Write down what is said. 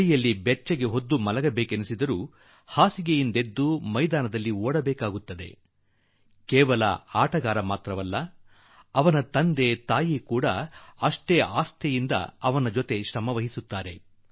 ಚಳಿಯಲ್ಲಿ ನಿದ್ದೆ ಮಾಡುವ ಮನಸ್ಸಾದರೂ ಕೂಡಾ ಹಾಸಿಗೆ ಬಿಟ್ಟು ಕ್ರೀಡಾ ಮೈದಾನದಲ್ಲಿ ಓಡಬೇಕಾಗುತ್ತದೆ ಹಾಗೂ ಕ್ರೀಡಾಪಟು ಮಾತ್ರವಲ್ಲ ಅವರ ತಂದೆ ತಾಯಿಗಳೂ ಕೂಡಾ ಅಷ್ಟೇ ಮನೋಬಲದಿಂದ ತಮ್ಮ ಮಕ್ಕಳ ಹಿಂದೆ ಅವರ ಬೆಂಬಲಕ್ಕೆ ನಿಲ್ಲಬೇಕಾಗುತ್ತದೆ